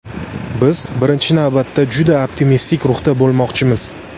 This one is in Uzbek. Biz, birinchi navbatda, juda optimistik ruhda bo‘lmoqchimiz.